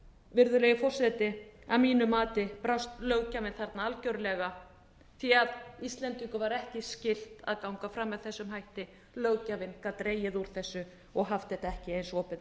virðulegi forseti að mínu mati brást löggjöfin þarna algerlega því að íslendum var ekki skylt að ganga fram með þessum hætti löggjöfin gat dregið úr þessu og haft þetta ekki eins opið